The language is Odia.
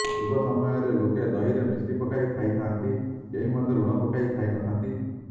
ପୂର୍ବ ସମୟରେ ଲୋକେ ଦହିରେ ମିଶ୍ରି ପକାଇ ଖାଇଥାଆନ୍ତି କେହି ମଧ୍ୟ ଲୁଣ ପକାଇ ଖାଇନଥାଆନ୍ତି